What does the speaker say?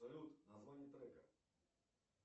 салют название трека